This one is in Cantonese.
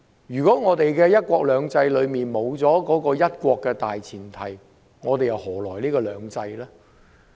如果"一國兩制"中沒有"一國"的大前提，又何來"兩制"呢？